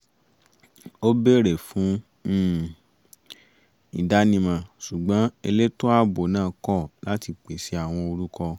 ó bèrè fún um ìdánimọ̀ ṣùgbọ́n elétò ààbò náà kọ̀ láti pèsè àwọn orúkọ